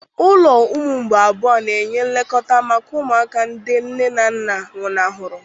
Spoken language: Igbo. Ụlọ ụmụ mgbei abụọ na-enye nlekọta maka ụmụaka ndị nne na nna nwụnahụrụ.